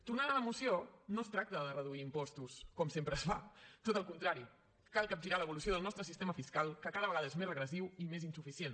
tornant a la moció no es tracta de reduir impostos com sempre es fa tot al contrari cal capgirar l’evolució del nostre sistema fiscal que cada vegada és més regressiu i més insuficient